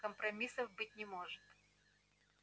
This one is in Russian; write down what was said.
компромиссов быть не может